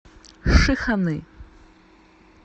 шиханы